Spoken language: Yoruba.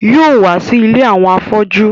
Yóò wá sí ilé àwọn afọ́jú